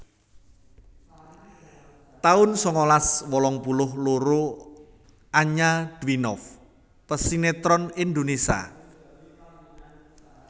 taun sangalas wolung puluh loro Anya Dwinov pesinètron Indonesia